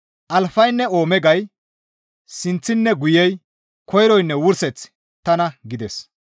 Alfaynne Oomegay, Sinththinne Guyey, Koyroynne Wurseththi tana» gides.